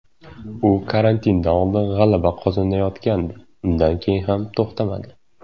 U karantindan oldin g‘alaba qozonayotgandi, undan keyin ham to‘xtamadi.